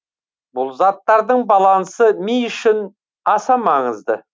бұл заттардың балансы ми үшін аса маңызды